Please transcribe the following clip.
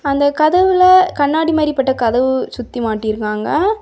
அந்தக் கதவுல கண்ணாடி மாறி பட்ட கதவு சுத்தி மாட்டி இருக்காங்க.